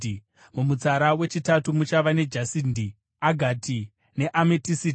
mumutsara wechitatu muchava nejasindi, agati neametisiti;